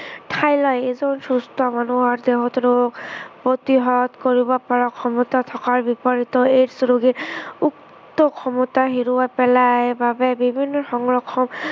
ঠাই লয়। এজন সুস্থ মানুহৰ দেহত ৰোগ প্ৰতিহত কৰিব পৰা ক্ষমতা থকাৰ বিপৰীতে AIDS ৰোগীৰ উক্ত ক্ষমতা হেৰুৱাই পেলায় বাবে বিভিন্ন সংক্ৰমণ